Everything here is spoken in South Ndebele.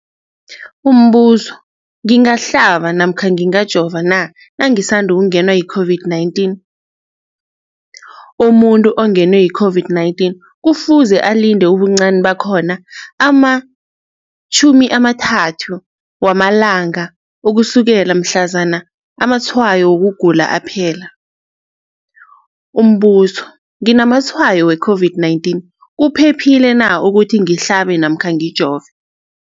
Umbuzo, ngingahlaba namkha ngingajova na nangisandu kungenwa yi-COVID-19? Umuntu ongenwe yi-COVID-19 kufuze alinde ubuncani bakhona ama-30 wama langa ukusukela mhlazana amatshayo wokugula aphela. Umbuzo, nginamatshayo we-COVID-19, kuphephile na ukuthi ngihlabe namkha ngijove?